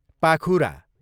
पाखुरा